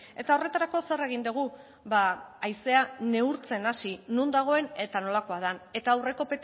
eta horretarako zer egin dugu haizea neurtzen hasi non dagoen eta nolakoa den eta aurreko